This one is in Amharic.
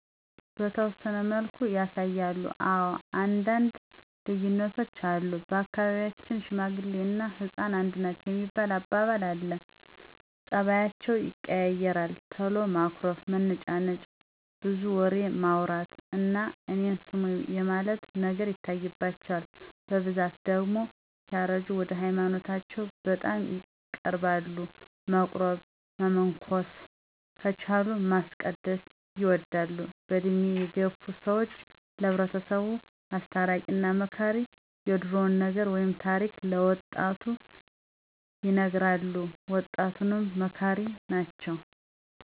በተወሰነ መልኩ ያሳያሉ። አወ አንዳንድ ልዩነቶች አሉ። በአካባቢያቸን ሽማግሌ እና ህፃን አንድ ናቸዉ የሚባል አባባል አለ። ፀባያቸዉ ይቀያየራል ቶሎ ማኩረፍ፣ መነጫነጭ፣ ብዙ ወሬማዉራት እና እኔን ስሙኝ የማለት ነገር ይታይባቸዋል። በብዛት ደግሞ ሲያረጁ ወደ ሀይማኖታቸዉ በጣም ይቀርባሉ። መቁረብ። መመንኮስ። ከቻሉ ማስቀደስ ይወዳሉ። በእድሜ የገፋ ሰወች ለሕብረተሰቡ አስታራቂ እና መካሪ የድሮዉን ነገር ወይም ታሪክ ለወጣቱ ይነግራሉ። ወጣቱንም መካሪ ናቸዉ።